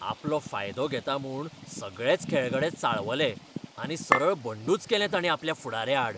आपलो फायदो घेता म्हूण सगळेच खेळगडे चाळवले, आनी सरळ बंडूच केलें तांणी आपल्या फुडाऱ्याआड.